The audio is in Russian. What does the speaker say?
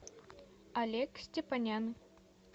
олег степанян